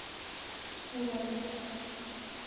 уральск